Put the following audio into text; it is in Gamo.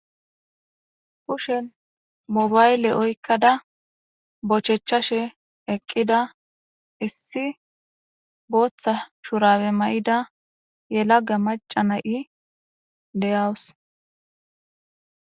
pushen mobayle oykkada bochechashe eqqida issi booththa shurabe may7ida yelagga macana7i deyawus